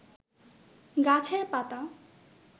গাছের পাতা